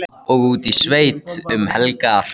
Og út í sveit um helgar.